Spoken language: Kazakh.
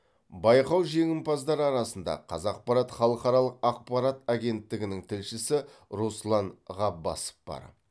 байқау жеңімпаздары арасында қазақпарат халықаралық ақпарат агенттігінің тілшісі руслан ғаббасов бар